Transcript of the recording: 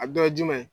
A dɔ ye jumɛn ye